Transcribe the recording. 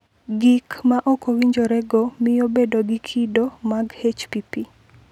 Gik ma ok owinjorego miyo bedo gi kido mag HPP.